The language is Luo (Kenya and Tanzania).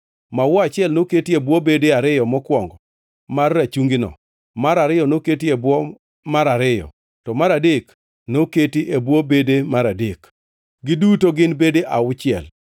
Maua achiel noketi e bwo bede ariyo mokwongo mar rachungino, mar ariyo noketi e bwo mar ariyo, to mar adek noketi e bwo bede mar adek, giduto gin bede auchiel.